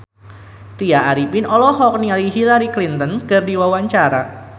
Tya Arifin olohok ningali Hillary Clinton keur diwawancara